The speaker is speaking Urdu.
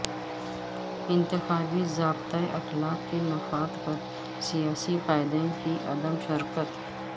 انتخابی ضابطہ اخلاق کے نفاذ پر سیاسی قائدین کی عدم شرکت